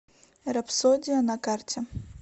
рапсодия на карте